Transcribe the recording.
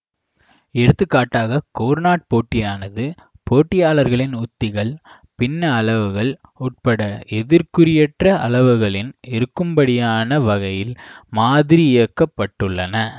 எடுத்துக்காட்டாக கோர்னாட் போட்டியானது போட்டியாளர்களின் உத்திகள் பின்ன அளவுகள் உட்பட எதிர்க்குறியற்ற அளவுகளின் இருக்கும்படியான வகையில் மாதிரியாக்கப்பட்டுள்ளன